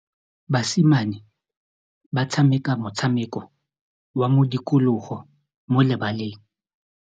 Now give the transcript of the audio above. Basimane ba tshameka motshameko wa modikologô mo lebaleng.